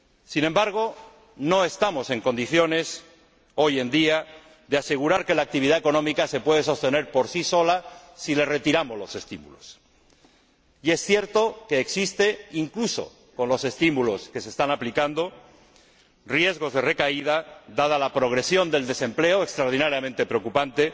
Sin embargo, no estamos en condiciones, hoy en día, de asegurar que la actividad económica se puede sostener por sí sola si le retiramos los estímulos. Y es cierto que existen, incluso con los estímulos que se están aplicando, riesgos de recaída dada la progresión del desempleo, extraordinariamente preocupante,